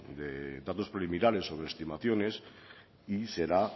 de datos preliminares sobre estimaciones y será